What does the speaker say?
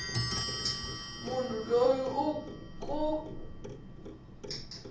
munhu loyi u ke a